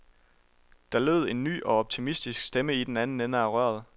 Der lød en ny og optimistisk stemme i den anden ende af røret.